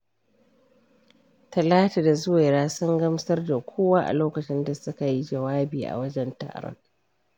Talatu da Zuwaira sun gamsar da kowa a lokacin da suka yi jawabi a wajen taron.